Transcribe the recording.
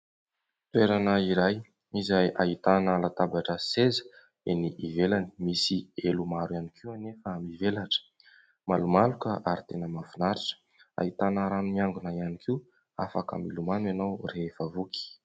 Toerana iray izay ahitana latabatra sy seza eny ivelany. Misy elo maro ihany koa anefa mivelatra ; malomaloka ary tena mahafinaritra. Ahitana rano miangona ihany koa afaka milomano ianao rehefa voky.